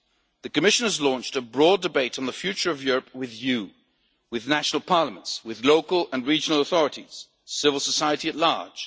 The Commission has launched a broad debate on the future of Europe with you and with national parliaments, with local and regional authorities, and with civil society at large.